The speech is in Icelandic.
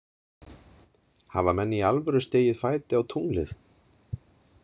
Hafa menn í alvöru stigið fæti á tunglið?